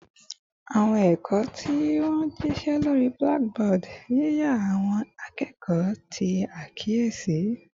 Awọn ẹkọ ti wa ni jišẹ lori blackboard, yiya awọn akẹkọ ti akiyesi